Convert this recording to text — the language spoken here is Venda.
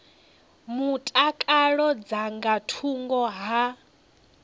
mutakalo dza nga thungo ha